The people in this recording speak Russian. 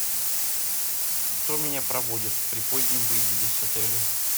кто меня проводит при позднем выезде с отеля